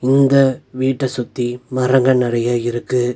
இந்த வீட்ட சுத்தி மரங்கள் நறைய இருக்கு.